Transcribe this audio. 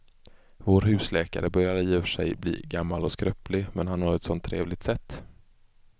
Vår husläkare börjar i och för sig bli gammal och skröplig, men han har ju ett sådant trevligt sätt!